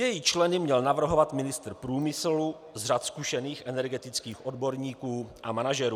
Její členy měl navrhovat ministr průmyslu z řad zkušených energetických odborníků a manažerů.